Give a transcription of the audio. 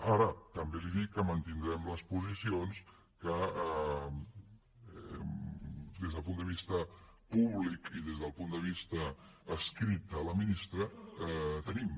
ara també li dic que mantindrem les posicions que des del punt de vista públic i des del punt de vista escrit a la ministra tenim